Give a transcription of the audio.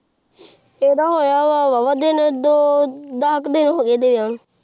ਆਈਦਾ ਹੋਯਾ ਵ ਵਾਵਾ ਦਿਨ ਦੋ ਡਾਕ ਦੇ ਹੋ ਗਏ ਇਹਨੇ ਵਿਆਹ ਨੂ